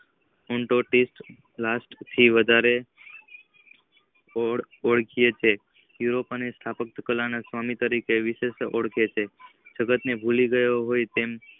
હું તો ટ્રીટ લાસ્ટ ની વધારા ઓળખીયે છીએ યુરોપિયન અને સ્થાપક કાલા સ્વામી તરીકે વિશેષ ઓળખી છે જકાત ને ભૂલી ગયો હતો.